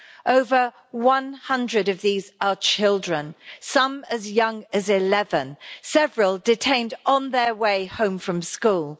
Over 100 of these are children some as young as 11, several detained on their way home from school.